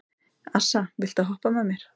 Assa, viltu hoppa með mér?